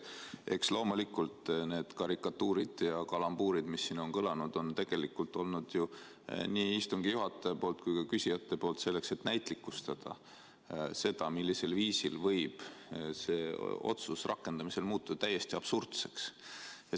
Eks loomulikult on neid karikatuure ja kalambuure, mis siin on kõlanud, on nii istungi juhataja kui ka küsijad tegelikult esitanud selleks, et näitlikustada, millisel viisil võib see otsus rakendamisel muutuda täiesti absurdseks.